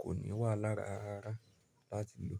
kò ní wà lára rárá láti lò.